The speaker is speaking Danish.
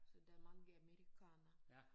Så der mange amerikanere